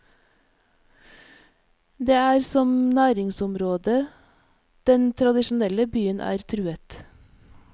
Det er som næringsområde den tradisjonelle byen er truet.